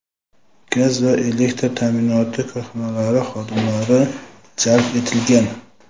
gaz va elektr ta’minoti korxonalari xodimlari jalb etilgan.